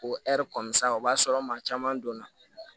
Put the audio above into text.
O kɔni san o b'a sɔrɔ maa caman donna